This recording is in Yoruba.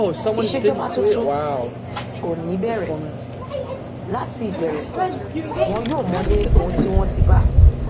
ìṣèjọba tuntun ò ní bẹrẹ láti ìbẹrẹ wọn yóò mọlé ohun tí wọn ti bá